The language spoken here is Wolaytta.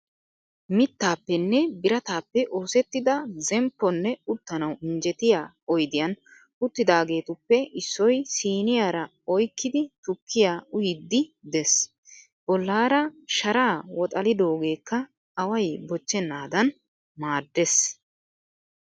Mittaappenne birataappe oosettida zempponne uttanawu injjetiya oyidiyan uttidaageetuppe issoy siiniyaara oyikkidi tukkiya uyiiddi des. Bollaara sharaa woxalidoogeekka away bochchennaadan maaddes.